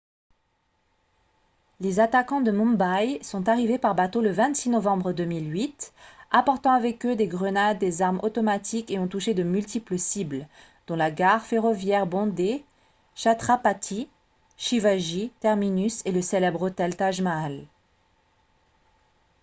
les attaquants de mumbai sont arrivés par bateau le 26 novembre 2008 apportant avec eux des grenades des armes automatiques et ont touché de multiples cibles dont la gare ferroviaire bondée chhatrapati shivaji terminus et le célèbre hôtel taj mahal